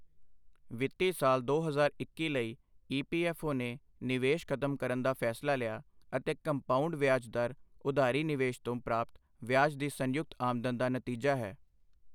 ਵਿੱਤੀ ਸਾਲ ਦੋ ਹਜ਼ਾਰ ਇੱਕੀ ਲਈ ਈਪੀਐਫਓ ਨੇ ਨਿਵੇਸ਼ ਖਤਮ ਕਰਨ ਦਾ ਫੈਸਲਾ ਲਿਆ ਅਤੇ ਕੰਪਾਊਂਡ ਵਿਆਜ ਦਰ ਉਧਾਰੀ ਨਿਵੇਸ਼ ਤੋਂ ਪ੍ਰਾਪਤ ਵਿਆਜ ਦੀ ਸੰਯੁਕਤ ਆਮਦਨ ਦਾ ਨਤੀਜਾ ਹੈ।